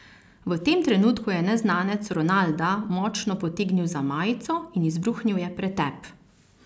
V tem trenutku je neznanec Ronalda močno potegnil za majico in izbruhnil je pretep.